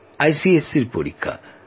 আইসিএসসির পরীক্ষা